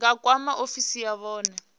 nga kwama ofisi ya vhune